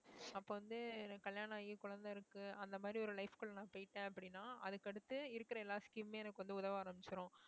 அப்ப வந்து எனக்கு கல்யாணம் ஆகி குழந்தை இருக்கு அந்த மாதிரி ஒரு life க்குள்ள நான் போயிட்டேன் அப்படின்னா அதுக்கு அடுத்து இருக்கிற எல்லா scheme மே எனக்கு வந்து உதவ ஆரம்பிச்சுரும்